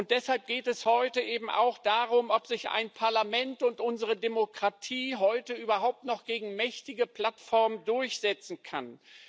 Deshalb geht es heute eben auch darum, ob sich ein Parlament und unsere Demokratie heute überhaupt noch gegen mächtige Plattformen durchsetzen können.